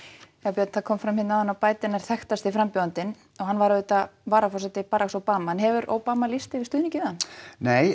björn það kom fram hér áðan að Biden er þekktasti frambjóðandinn hann var auðvitað varaforseti Obama en hefur Obama lýst yfir stuðningi við hann nei